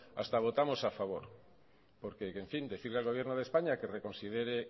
hasta votamos a favor porque en fin decirle al gobierno de españa que reconsidere